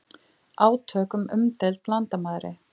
Átök við umdeild landamæri